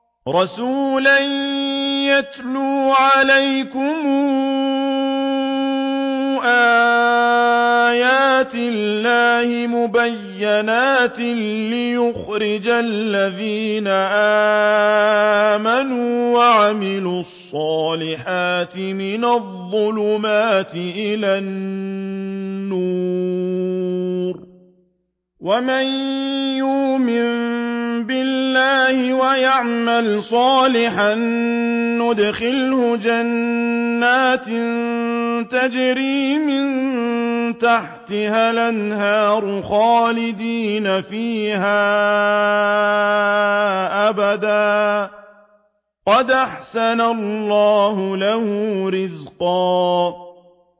رَّسُولًا يَتْلُو عَلَيْكُمْ آيَاتِ اللَّهِ مُبَيِّنَاتٍ لِّيُخْرِجَ الَّذِينَ آمَنُوا وَعَمِلُوا الصَّالِحَاتِ مِنَ الظُّلُمَاتِ إِلَى النُّورِ ۚ وَمَن يُؤْمِن بِاللَّهِ وَيَعْمَلْ صَالِحًا يُدْخِلْهُ جَنَّاتٍ تَجْرِي مِن تَحْتِهَا الْأَنْهَارُ خَالِدِينَ فِيهَا أَبَدًا ۖ قَدْ أَحْسَنَ اللَّهُ لَهُ رِزْقًا